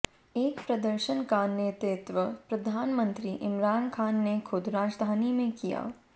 एक प्रदर्शन का नेतृत्व प्रधानमंत्री इमरान खान ने खुद राजधानी में किया